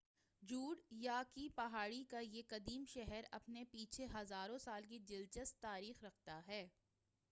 Jude یا کی پہاڑی کا یہ قدیم شہر اپنے پیچھے ہزروں سال کی دلچسپ تاریخ رکھتا ہے